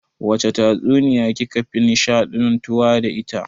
Wace tatsuniya ki ka fi nishaɗantuwa da ita?